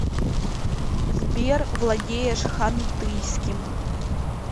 сбер владеешь хантыйским